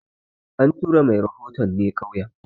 An tura mai rahoton ne ƙauyen